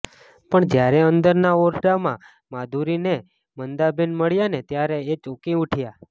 પણ જયારે અંદરના ઓરડામાં માધુરીને મંદાબેન મળ્યાને ત્યારે એ ચોંકી ઉઠ્યા